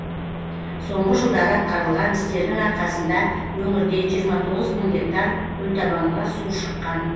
соңғы жылдары атқарылған істердің арқасында өңірде жиырма тоғыз мың гектар көлтабанға су шыққан